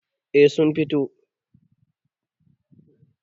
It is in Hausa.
A sun fito